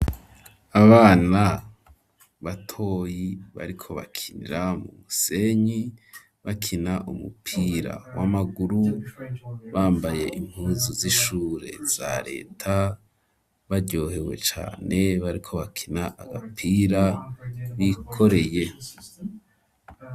Abana batoyi bariko bakinira mu musenyi bakina umupira w'amaguru bambaye impuzu z'ishure za leta baryohewe cane bariko bakina agapira bikoreye.